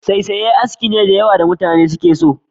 Saisaye aski ne da mutane da yawa suke so.